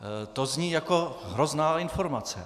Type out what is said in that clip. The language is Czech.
To zní jako hrozná informace.